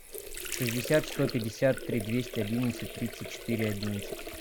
шестьдесят сто пятьдесят три двести одиннадцать тридцать четыре одиннадцать